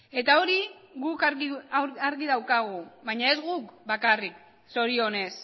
eta hori guk argi daukagu baina ez guk bakarrik zorionez